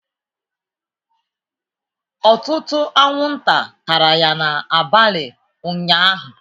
Ọtụtụ anwụnta tara ya n'abalị ụnyahụ